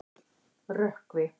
Rökkvi